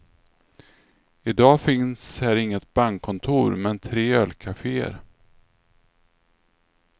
I dag finns här inget bankkontor, men tre ölkafeer.